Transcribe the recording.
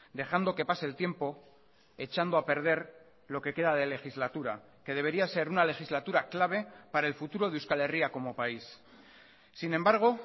dejando que pase el tiempo echando a perder lo que queda de legislatura que debería ser una legislatura clave para el futuro de euskal herria como país sin embargo